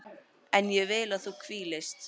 En ég vil að þú hvílist.